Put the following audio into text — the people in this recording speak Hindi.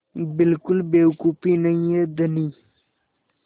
बिल्कुल बेवकूफ़ी नहीं है धनी